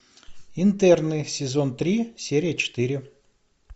интерны сезон три серия четыре